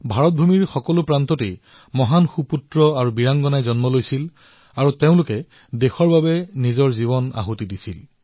ভাৰত ভূমিৰ প্ৰতিটো কোণত এনে মহান বীৰ আৰু বীৰাংগনাসকলে জন্ম লৈছিল যিয়ে ৰাষ্ট্ৰৰ বাবে নিজৰ জীৱন ত্যাগ কৰিছিল